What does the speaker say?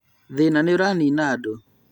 Thĩna nĩũranina andũ